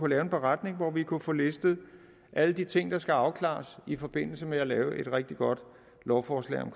lave en beretning hvor vi kunne få listet alle de ting der skal afklares i forbindelse med lave et rigtig godt lovforslag om